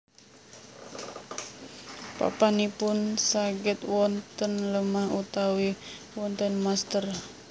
Papanipun saged wonten lemah utawi wonten mestèr